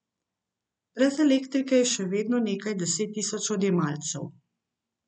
Brez elektrike je še vedno nekaj deset tisoč odjemalcev.